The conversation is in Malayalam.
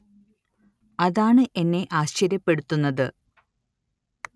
അതാണ് എന്നെ ആശ്ചര്യപ്പെടുത്തുന്നത്